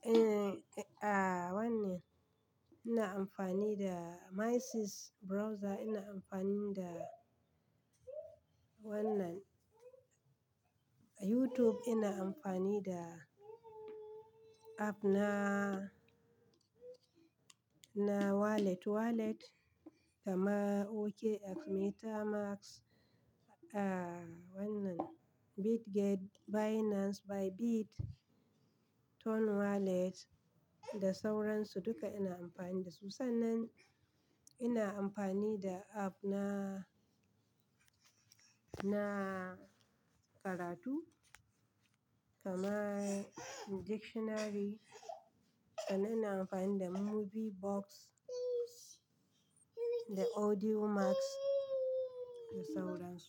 eh, ah, wannan ina amfani da My 6 browser, ina amfani da wannan YouTube, ina amfani da app na, na wallet wallet kaman OKX, MetaMask, ah, wannan Bitget, Binance, Bybit, Ton Wallet da sauransu duka ina amfani da su. Sannan ina amfani da app na, na karatu kama dictionary. Sannan ina amfani da Movie Box da Audiomack da sauransu.